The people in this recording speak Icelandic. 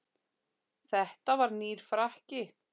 Þetta var nýr frakki.